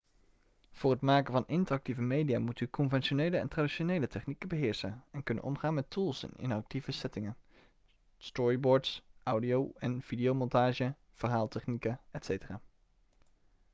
voor het maken van interactieve media moet u conventionele en traditionele technieken beheersen en kunnen omgaan met tools in interactieve trainingen storyboards audio- en videomontage verhaaltechnieken etc.